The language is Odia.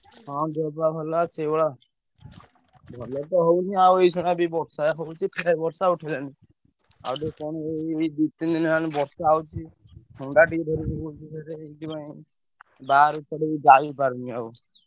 ହଁ ଦେହ ପାହ ଭଲ ସେଇଭଳିଆ ଆଉ ଭଲ ତ ହଉନି ଆଉ ଏଇ ଶଳାବି ବର୍ଷା ହଉଛି ପ୍ରାଏ ବର୍ଷା ଉଠେଇଲାଣି ଆଉ ଦୋକାନରେ ଏଇ ଦି ତିନି ଦିନି ହେଲାଣି ବର୍ଷା ହଉଛି ଥଣ୍ଡା ଟିକେ ଧରି ପକଉଛି ମାନେ ବାହାରକୁ କୁଆଡେ ଯାଇପାରୁନି ଆଉ।